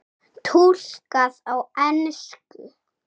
Túlkað á ensku.